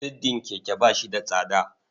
Siddin keke ba shi da tsada.